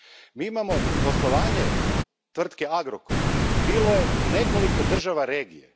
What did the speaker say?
Mi imamo poslovanje tvrtke Agrokor, koje je bilo u nekoliko država regije.